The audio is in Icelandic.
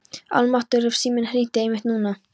Almáttugur ef síminn hringdi einmitt núna.